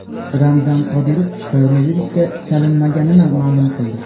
Ramzan Qodirov koronavirusga chalinmaganini ma’lum qildi.